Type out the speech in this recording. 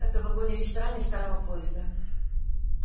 и это в вагоне-ресторане старого поезда